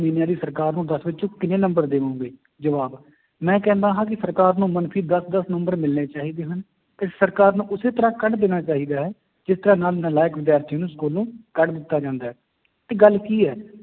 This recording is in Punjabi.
ਇਹਨਾਂ ਦੀ ਸਰਕਾਰ ਨੂੰ ਦਸ ਵਿੱਚੋਂ ਕਿੰਨੇ ਨੰਬਰ ਦੇਵੋਂਗੇ, ਜਵਾਬ ਮੈਂ ਕਹਿੰਦਾ ਹਾਂ ਕਿ ਸਰਕਾਰ ਨੂੰ ਮਨਫ਼ੀ ਦਸ ਦਸ number ਮਿਲਣੇ ਚਾਹੀਦੇ ਹਨ, ਤੇ ਸਰਕਾਰ ਨੂੰ ਉਸੇ ਤਰ੍ਹਾਂ ਕੱਢ ਦੇਣਾ ਚਾਹੀਦਾ ਹੈ, ਜਿਸ ਤਰ੍ਹਾਂ ਨਾਲ ਨਲਾਇਕ ਵਿਦਿਆਰਥੀ ਨੂੰ ਸਕੂਲੋਂ ਕੱਢ ਦਿੱਤਾ ਜਾਂਦਾ ਹੈ ਤੇ ਗੱਲ ਕੀ ਹੈ,